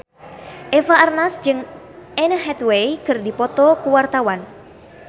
Eva Arnaz jeung Anne Hathaway keur dipoto ku wartawan